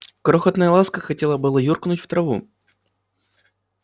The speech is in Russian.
крохотная ласка хотела было юркнуть в траву